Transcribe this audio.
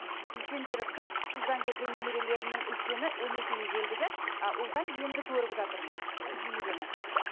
үлкендері қыз қыздан көрген немерелерімнің үлкені он екіге келді де а ұлдан енді көріп жатырмын ы немерені